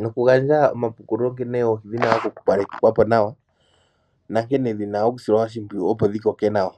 nokugandja omapukulo nkene oohi dhina okukalekithwapo nawa nankene dhina okusilwa oshimpwiyu opo dhikoke nawa.